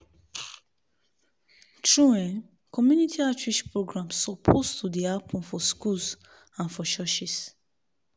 true eh community outreach programs suppose to dey happen for schools and for churches